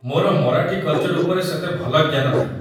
ମୋର ମରାଠୀ କଲ୍‌ଚର୍ ଉପରେ ସେତେ ଭଲ ଜ୍ଞାନ ନାହିଁ ।